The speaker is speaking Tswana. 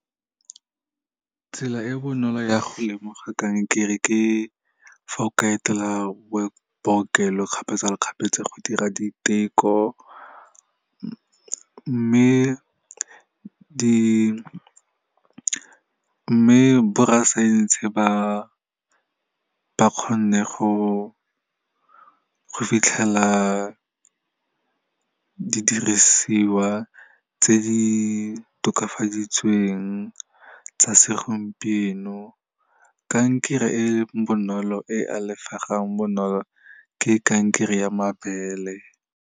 Tsela e bonolo ya go lemoga kankere ke fa o ka etela bookelo kgapetsa le kgapetsa go dira diteko. Mme borrasaense, ba kgonne go fitlhela didirisiwa tse di tokafaditsweng tsa segompieno. Kankere e bonolo, e alafegang bonolo, ke kankere ya mabele.